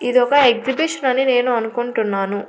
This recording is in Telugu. ఇది ఒక ఎగ్జిబిషన్ అని నేను అనుకుంటున్నాను.